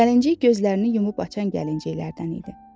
Gəlinciq gözlərini yumub açan gəlinciqlərdən idi.